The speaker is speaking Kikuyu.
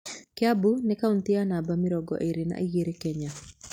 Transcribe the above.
Kĩambu nĩ kaũntĩ ya namba mĩrongo ĩrĩ na igĩrĩ Kenya.